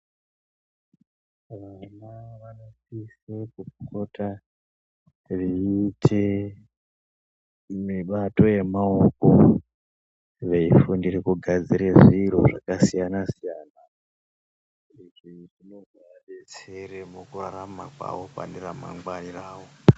Vana vanosise kupota veyiite mibato yemaoko veyifundire kugadzire zviro zvakasiyana siyana ngokuti zvino zovabetsere pakurarama kwavo mune ramangwani ravo.